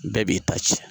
Bɛɛ b'i ta ci